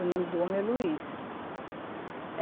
O nome do homem é Luiz.